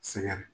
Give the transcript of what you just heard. Sɛgɛn